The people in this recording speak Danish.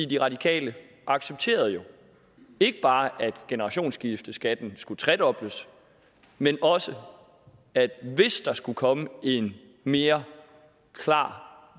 de radikale accepterede jo ikke bare at generationsskifteskatten skulle tredobles men også at hvis der skulle komme en mere klar